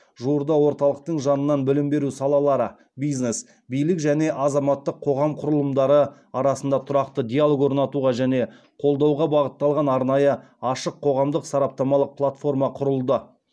жуырда орталықтың жанынан білім беру салалары бизнес билік және азаматтық қоғам құрылымдары арасында тұрақты диалог орнатуға және қолдауға бағытталған арнайы ашық қоғамдық сараптамалық платформа құрылды